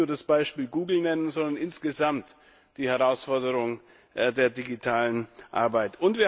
Ich will nicht nur das Beispiel Google nennen, sondern insgesamt die Herausforderung der digitalen Arbeit.